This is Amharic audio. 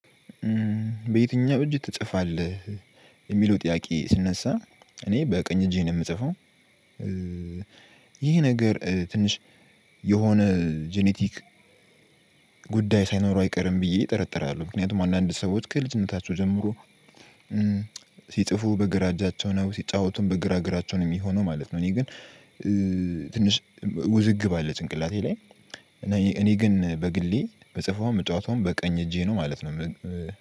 በየትኛው እጅ ትጽፋለህ? የሚለው ጥያቄ ስነሳ እኔ በቀኝ እጄ ነው የምጽፈው። ይሄ ነገር ትንሽ የሆነ ጄኔቲክ ጉዳይ ሳይኖረው አይቀርም ብዬ እጠረጥራለሁ። ምክንያቱም አንዳንድ ሰዎች ከልጅነታቸው ጀምሮ። ሲጽፉ በግራ እጃቸውን ነው ሲጫወቱም በግራ እግራቸውን የሚሆነው ማለት ነው። እኔ ግን ትንሽ ውዝግብ አለ ጭንቅላቴ ላይ። እና እኔ ግን በግሌ የምፅፈውም የምጫወተውም በቀኝ እጄ ነው ማለት ነው።